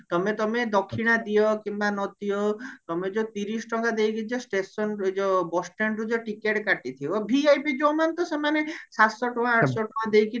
ତମେ ତମେ ଦକ୍ଷିଣା ଦିଅ କିମ୍ବା ନଦିଅ ତମେ ଯୋଉ ତିରିଶ ଟଙ୍କା ଦେଇକି ଯୋଉ stationରୁ ଏଇଯୋଉ bus standରୁ ଯୋଉ ଟିକେଟ କାଟିଥିବ VIP ଯୋଉ ମାନେ ତ ସେମାନେ ସାତଶହ ଟଙ୍କା ଆଠଶହ ଟଙ୍କା ଦେଇକି